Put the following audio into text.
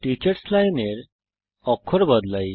teachers line এর অক্ষর বদলাই